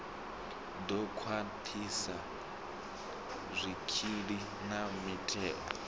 ḓo khwaṱhisa zwikili na mutheo